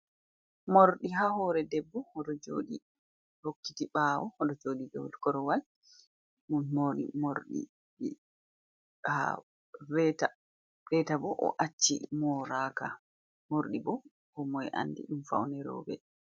Morɗi haa hoore debbo, o ɗo jooɗi hokkiti ɓaawo, o ɗo jooɗi do korowal ɗo moori morɗi, reeta boo o acci moraaka mordi boo koomoy anndi ɗum fawne roobe.